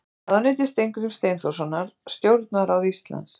Ráðuneyti Steingríms Steinþórssonar Stjórnarráð Íslands.